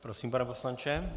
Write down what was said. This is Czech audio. Prosím, pane poslanče.